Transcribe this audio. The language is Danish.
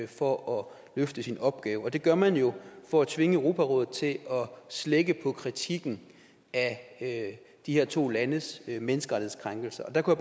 for at løfte sin opgave og det gør man jo for at tvinge europarådet til at slække på kritikken af de her to landes menneskerettighedskrænkelser og der kunne